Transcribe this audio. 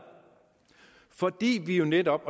fordi vi jo netop